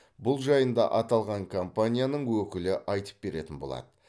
бұл жайында аталған компанияның өкілі айтып беретін болады